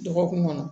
Dɔgɔkun kɔnɔ